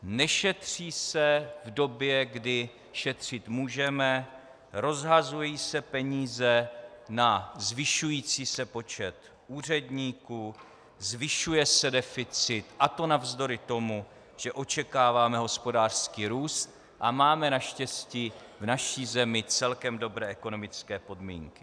Nešetří se v době, kdy šetřit můžeme, rozhazují se peníze na zvyšující se počet úředníků, zvyšuje se deficit, a to navzdory tomu, že očekáváme hospodářský růst a máme naštěstí v naší zemi celkem dobré ekonomické podmínky.